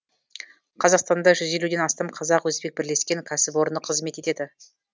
қазақстанда жүз елуден астам қазақ өзбек бірлескен кәсіпорны қызмет етеді